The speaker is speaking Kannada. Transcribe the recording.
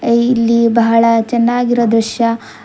ಏ ಇಲ್ಲಿ ಬಹಳ ಚೆನ್ನಾಗಿರೊ ದೃಶ್ಯ.